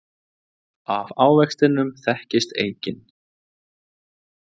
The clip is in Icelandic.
Af ávextinum þekkist eikin.